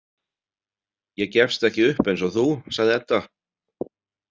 Ég gefst ekki upp eins og þú, sagði Edda.